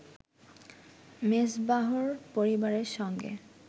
মেজবাহর পরিবারের সঙ্গে